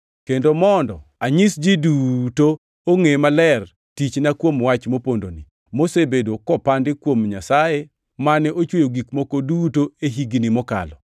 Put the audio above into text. kendo mondo anyis ji duto ongʼe maler tichna kuom wach mopondoni, mosebedo kopandi kuom Nyasaye mane ochweyo gik moko duto e higni mokalo.